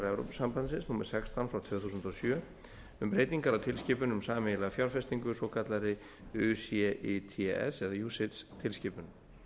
evrópusambandsins númer sextán tvö þúsund og sjö um breytingar á tilskipun um sameiginlega fjárfestingu svokallaðri ucits tilskipun